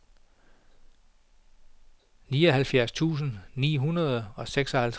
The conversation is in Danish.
nioghalvfjerds tusind ni hundrede og seksoghalvtreds